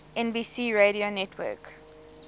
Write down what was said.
nbc radio network